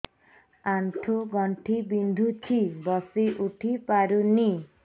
ଆଣ୍ଠୁ ଗଣ୍ଠି ବିନ୍ଧୁଛି ବସିଉଠି ପାରୁନି